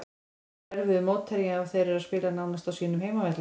Fram er erfiður mótherji og þeir eru að spila nánast á sínum heimavelli.